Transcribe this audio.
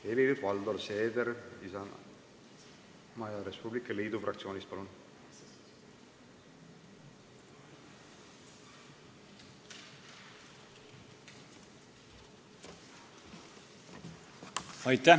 Helir-Valdor Seeder Isamaa ja Res Publica Liidu fraktsioonist, palun!